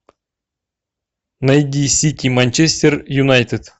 найди сити манчестер юнайтед